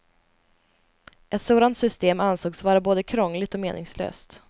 Ett sådant system ansågs vara både krångligt och meningslöst.